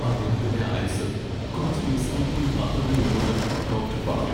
അദ്ദേഹത്തിന്റെ ആയുസ്സ് കുറച്ച് ദിവസങ്ങൾ കൂടി മാത്രമേ ഉള്ളൂന്ന് ഡോക്ടർ പറഞ്ഞു.